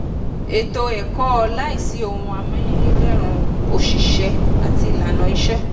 ètò ẹ̀kọ́ láìsí ohun amáyédẹrùn òṣìṣẹ́ àti ìlànà ìṣe.